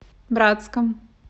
братском